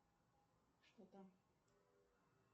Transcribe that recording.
что там